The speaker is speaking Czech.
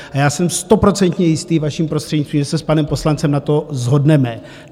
A já jsem stoprocentně jistý, vaším prostřednictvím, že se s panem poslancem na tom shodneme.